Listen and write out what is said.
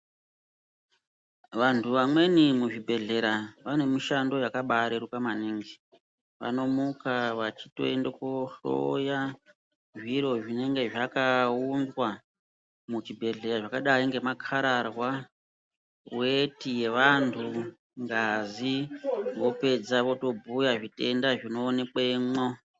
Vantu vamweni muzvibhedhlera vane mishando yakabareruka maningi. Vanomuka vachitoende kohloya zviro zvinenge zvakaunzwa muzvibhedhlera zvakadai ngemakararwa, weti yeantu, ngazi, kupedza votobhuya zvitenda zvinoonekwemo.